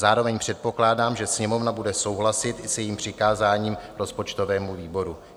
Zároveň předpokládám, že Sněmovna bude souhlasit i s jejím přikázáním rozpočtovému výboru.